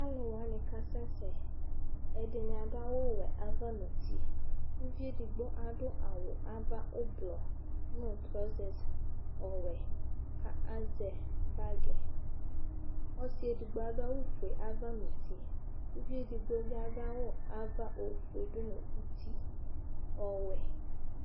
alu wani kasɛsɛ ɛdini adu awu wɛ ava nu uti uvi edigbo adu awu ava ublɔ nu trɔsɛse ɔwɛ ka azɛ bagui ɔsi digbo adu awu fue ava nu uti uvi edigbo bi adu awu ava ofue du nu uti ɔwɛ